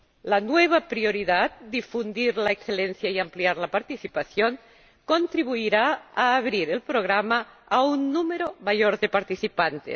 La nueva prioridad Difundir la excelencia y ampliar la participación contribuirá a abrir el programa a un número mayor de participantes.